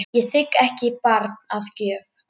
Ég þigg ekki barn að gjöf.